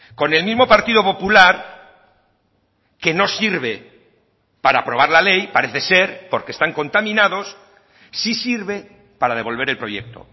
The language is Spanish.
con el mismo partido popular que no sirve para aprobar la ley parece ser porque están contaminados sí sirve para devolver el proyecto